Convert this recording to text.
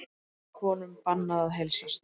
Körlum og konum bannað að heilsast